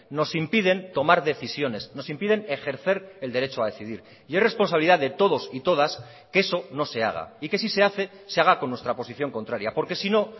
nos impiden tomar decisiones nos impiden ejercer el derecho a decidir y es responsabilidad de todos y todas que eso no se haga y que si se hace se haga con nuestra posición contraria porque si no